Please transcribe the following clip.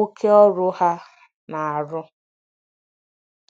oke ọrụ ha na-arụ.